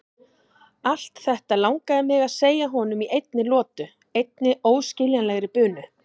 Allt þetta langaði mig að segja honum í einni lotu, einni óskiljanlegri bunu.